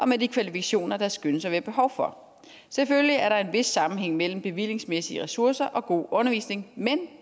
med de kvalifikationer der skønnes at være behov for selvfølgelig er der en vis sammenhæng mellem bevillingsmæssige ressourcer og god undervisning men